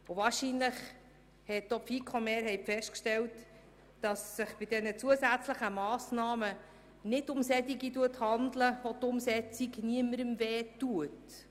Wahrscheinlich hat auch die FiKo-Mehrheit festgestellt, dass es sich bei den zusätzlichen Massnahmen nicht um solche handelt, deren Umsetzung niemandem wehtut.